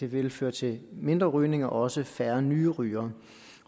vil føre til mindre rygning og også til færre nye rygere